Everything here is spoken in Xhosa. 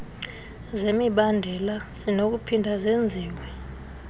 zemibandela zinokuphinda zenziwe